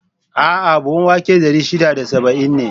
A'a! buhun wake dari shida da saba'in ne.